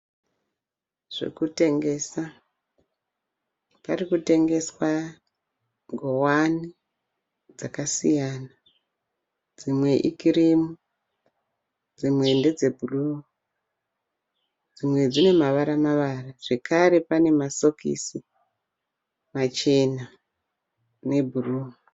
Zvekutengesa, parikutengeswa nguwani dzakasiyana dzimwe i kirimu, dzimwe ndedze bhuruu dzimwe dzine mavara mavara zvekare pane masokisi machena e bhuruu.